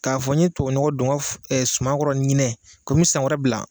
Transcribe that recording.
K'a fɔ n ye tubanɔgɔ don n ka sumankɔrɔ ɲinɛ ko n mɛ san wɛrɛ bila.